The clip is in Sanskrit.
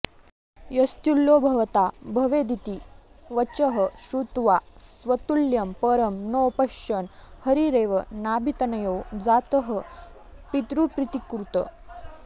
यस्तुल्यो भवता भवेदिति वचः श्रुत्वा स्वतुल्यं परं नो पश्यन् हरिरेव नाभितनयो जातः पितृप्रीतिकृत्